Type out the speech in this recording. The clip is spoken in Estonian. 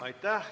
Aitäh!